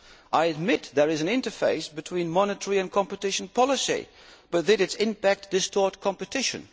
I admit there is an interface between monetary and competition policy but did its impact distort competition?